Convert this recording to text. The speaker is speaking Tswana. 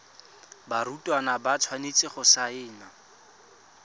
barutwana ba tshwanetse go saena